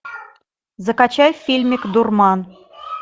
закачай фильмик дурман